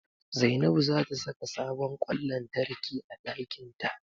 Zainabu za ta saka sabon ƙwan lantarki a ɗakinta.